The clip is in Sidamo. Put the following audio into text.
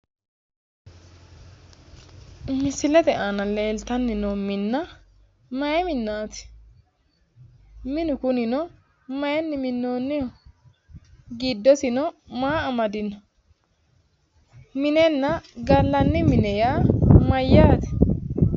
Misilete aana leeltanni noo minna mayi minnaati? minu kunino mayiinni minnoonniho? giddosino maa amadino? minenna gallanni mine yaa mayyaate?